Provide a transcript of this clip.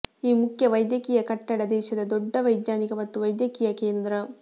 ಈ ಮುಖ್ಯ ವೈದ್ಯಕೀಯ ಕಟ್ಟಡ ದೇಶದ ದೊಡ್ಡ ವೈಜ್ಞಾನಿಕ ಮತ್ತು ವೈದ್ಯಕೀಯ ಕೇಂದ್ರ